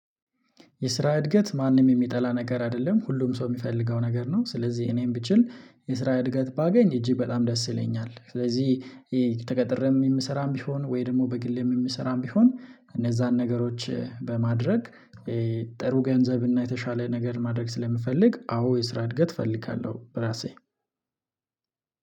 የስራ እድገት ማንም የሚጠላ ነገር አይደለም። ሁሉም ሰው የሚፈልገው ነገር ነው። ስለዚህ እኔም ብችል የስራ እድገት ባገኝ እጅግ በጣም ደስ ይለኛል። ስለዚህ ተቀጥሬም የምሰራም ቢሆን ወይ ደግሞ በግሌም የምሰራም ቢሆን እነዛን ነገሮች በማድረግ ጥሩ ገንዘብ እና የተሻለ ነገር ማድረግ ስለምፈልግ አዎ የስራ እድገት እፈልጋለሁ በራሴ